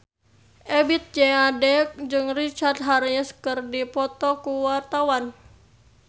Ebith G. Ade jeung Richard Harris keur dipoto ku wartawan